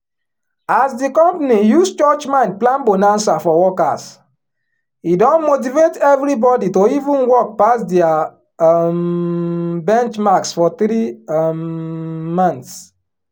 as di company use church mind plan bonanza for workers e don motivate everybody to even work pass dia um benchmarks for three um months